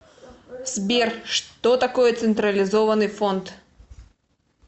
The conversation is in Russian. сбер что такое централизованный фонд